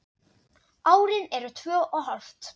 Árin eru tvö og hálft.